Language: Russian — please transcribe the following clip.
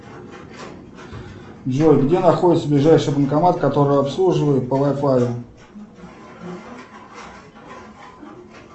джой где находится ближайший банкомат который обслуживает по вай фаю